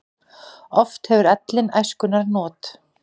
Oft hefur ellin æskunnar not.